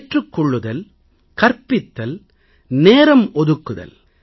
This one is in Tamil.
ஏற்றுக் கொள்ளுதல் கற்பித்தல் நேரம் ஒதுக்குதல்